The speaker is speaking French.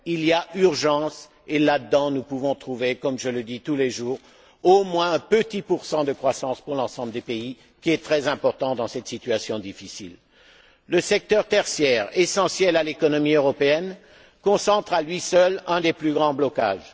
Il y a urgence et là dedans, nous pouvons trouver, comme je le dis tous les jours, au moins un petit pour cent de croissance pour l'ensemble des pays, ce qui est très important dans cette situation difficile. Le secteur tertiaire, essentiel à l'économie européenne, concentre à lui seul un des plus grands blocages.